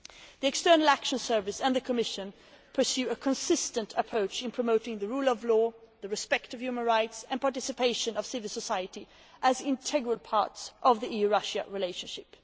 The External Action Service and the Commission pursue a consistent approach in promoting the rule of law, respect for human rights and participation of civil society as integral parts of the EU Russia relationship.